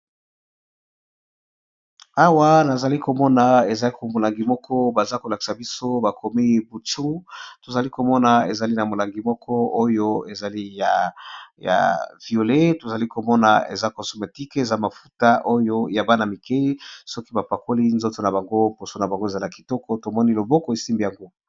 Awa nazali komona eza molangi moko baza ko lakisa biso bakomi buchu, tozali komona ezali na molangi moko oyo ezali ya violet tozali komona eza cosmétique eza mafuta oyo ya bana mike soki bapakoli nzoto na bango poso na bango ezala kitoko, tomoni loboko esimbi yango.